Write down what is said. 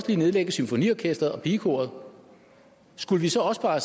ville nedlægge symfoniorkestret og pigekoret skulle vi så også bare